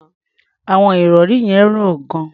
Àwọn ìrọ̀rí yẹn rọ̀ gan-an.